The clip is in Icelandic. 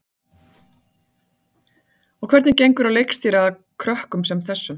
Ásgeir: Og hvernig gengur að leikstýra krökkum sem þessu?